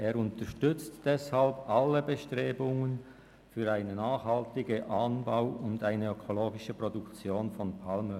Er unterstützt deshalb alle Bestrebungen für einen nachhaltigen Anbau und eine ökologische Produktion von Palmöl.